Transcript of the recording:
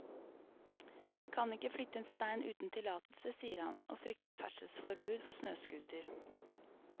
Vi kan ikke flytte en stein uten tillatelse, sier han, og frykter ferdselsforbud for snøscooter.